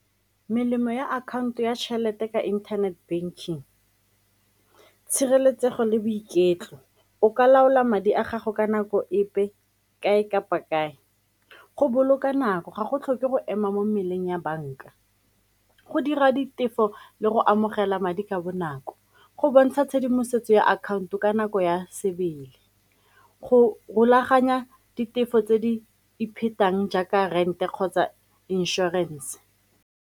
Melemo ya akhaonto ya tšhelete ka internet banking, tshireletsego le boiketlo, o ka laola madi a gago ka nako epe kae kapa kae, go boloka nako ga go tlhoke go ema mo meleng ya banka, go dira ditefo le go amogela madi ka bonako go bontsha tshedimosetso ya akhaonto ka nako ya sebele, go rulaganya ditefo tse di jaaka rente kgotsa inšorense.